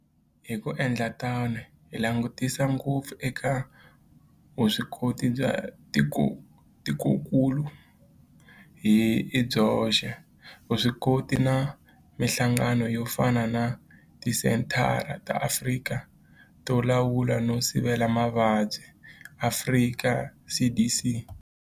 Hi ku endla tano hi langutisa ngopfu eka vuswikoti bya tikokulu hi byoxe, vuswikoti na mihlangano yo fana na Tisenthara ta Afrika to Lawula no Sivela Mavabyi, Afrika CDC.